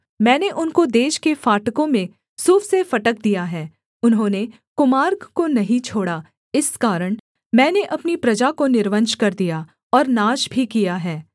मैंने उनको देश के फाटकों में सूफ से फटक दिया है उन्होंने कुमार्ग को नहीं छोड़ा इस कारण मैंने अपनी प्रजा को निर्वंश कर दिया और नाश भी किया है